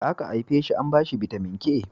da aka haife shi an bashi bitamin k